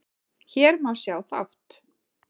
Hér má sjá þátt